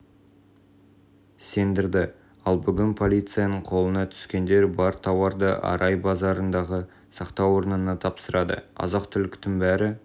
сендірді ал бүгін полицияның қолына түскендер бар тауарды арай базарындағы сақтау орнына тапсырады азық-түліктің бәрі